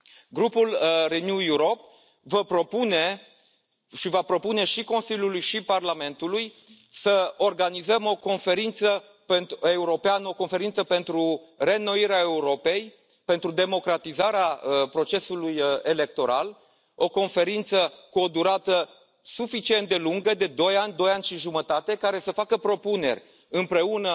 Grupul Renew Europe vă propune și va propune și Consiliului și Parlamentului să organizăm o conferință europeană, o conferință pentru reînnoirea Europei, pentru democratizarea procesului electoral, o conferință cu o durată suficient de lungă, de doi ani, doi ani și jumătate, care să facă propuneri împreună